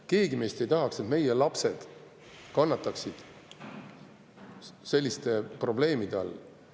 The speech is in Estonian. Keegi meist ei taha, et meie lapsed kannataksid selliste probleemide all.